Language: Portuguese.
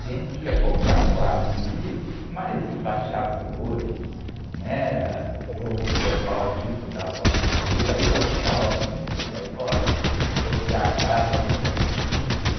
Gente que ia comprar quadro e livros, mas embaixadores, né? Eh, o pessoal rico da Zona Sul, aí ela ficava muito nervosa, porque a casa é muito simples.